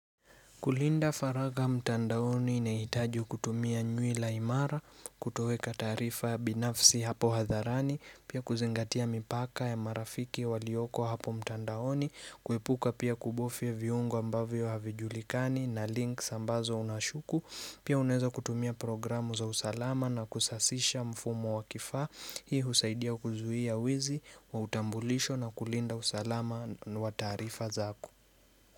Kulinda faragha mtandaoni inahitaji kutumia nywila imara, kutoweka taarifa binafsi hapo hadharani, pia kuzingatia mipaka ya marafiki walioko hapo mtandaoni, kuepuka pia kubofya viungo ambavyo havijulikani na links ambazo unashuku, Pia unaweza kutumia program za usalama na kusasisha mfumo wa kifaa, hii husaidia kuzuia wizi, wa utambulisho na kulinda usalama wa taarifa zako.